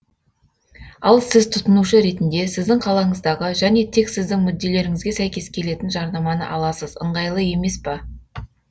ал сіз тұтынушы ретінде сіздің қалаңыздағы және тек сіздің мүдделеріңізге сәйкес келетін жарнаманы аласыз ыңғайлы емес па